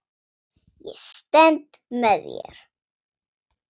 Ég stend með þér.